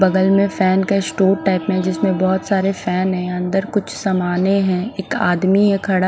बगल में फेन का स्टोर टाइप में जिसमे बोहोत सारे फेन है अन्दर कुछ समाने है एक आदमी है खड़ा--